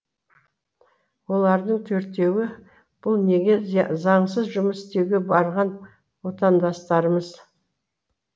олардың төртеуі бұл неге заңсыз жұмыс істеуге барған отандастарымыз